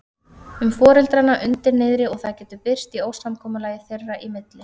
um foreldrana undir niðri og það getur birst í ósamkomulagi þeirra í milli.